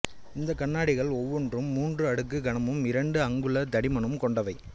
இந்தக் கண்ணாடிகள் ஒவ்வொன்றும் மூன்று அடுக்குக் கனமும் இரண்டு அங்குல தடிமனும் கொண்டவை